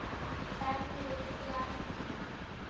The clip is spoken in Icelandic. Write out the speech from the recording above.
Benni Bjarna.